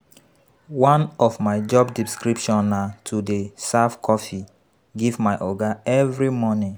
One of my job description na to dey serve coffee give my Oga every morning